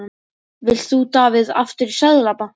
Vilt þú Davíð aftur í Seðlabankann?